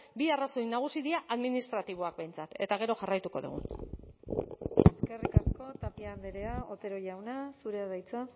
bi arrazoi nagusi dira administratiboak behintzat eta gero jarraituko dugu eskerrik asko tapia andrea otero jauna zurea da hitza